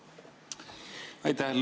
Aitäh!